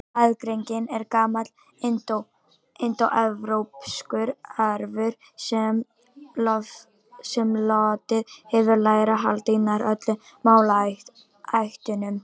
Aðgreiningin er gamall indóevrópskur arfur sem lotið hefur í lægra haldi í nær öllum málaættunum.